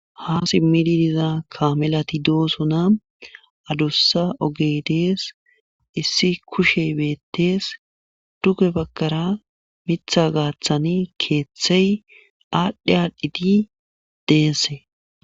ha simmidi diza kamelati doosona adossa ogedees issi kushe beettees duge bagkara mitha gaaththani keeththey aadhdhe aadhdhiti deesse